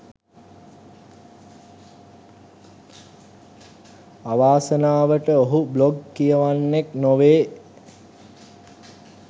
අවාසනාවට ඔහු බ්ලොග් කියවන්නෙක් නොවේ